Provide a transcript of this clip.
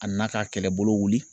A nan'a ka kɛlɛbolo wuli.